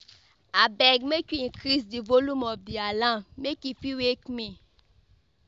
Abeg make you increase di volume of di alarm, make e fit wake me.